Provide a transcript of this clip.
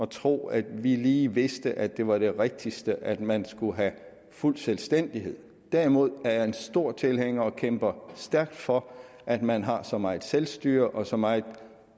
tro at vi lige vidste at det var det rigtigste at man skulle have fuld selvstændighed derimod er jeg en stor tilhænger af og kæmper stærkt for at man har så meget selvstyre og så meget